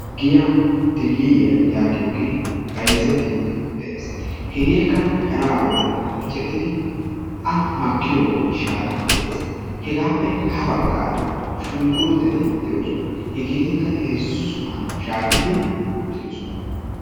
Giyaan diilliyiyaa giyoogee bayzzettidi de'ees. Hegeekka sharaa bollan miicettidi a makkiyoo miishara de"ees. Hegaappe ha baggaara shunkurttetti dee"oosona. Hegeetikka heezzu sohuwaan shaahettidi uttidosona.